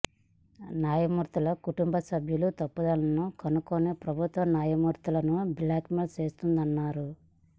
న్యాయమూర్తుల కుటుంబ సభ్యుల తప్పిదాలను కనుక్కొని ప్రభుత్వం న్యాయమూర్తులను బ్లాక్ మెయిల్ చేస్తోందన్నారు